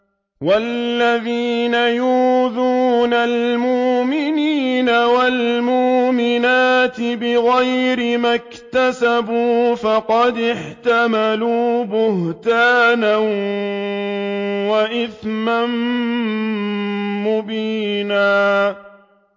وَالَّذِينَ يُؤْذُونَ الْمُؤْمِنِينَ وَالْمُؤْمِنَاتِ بِغَيْرِ مَا اكْتَسَبُوا فَقَدِ احْتَمَلُوا بُهْتَانًا وَإِثْمًا مُّبِينًا